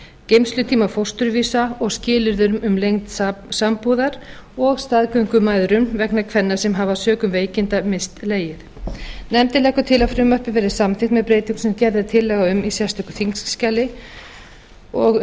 geymslutíma fósturvísa og skilyrðum um lengd sambúðar og staðgöngumæðrun vegna kvenna sem hafa sökum veikinda misst legið nefndin leggur til að frumvarpið verði samþykkt með breytingum sem gerð er tillaga um í sérstöku þingskjali undir nefndarálitið